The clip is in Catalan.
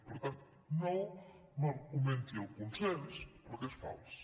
per tant no m’argumenti el consens perquè és fals